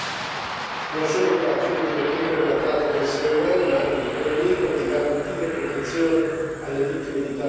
non solo al fine di reprimere la tratta di essere umani, ma anche di prevenirla e di garantire protezione alle vittime di tale abuso.